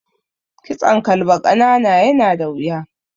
Kitson kalba ƙanana yana da wuya.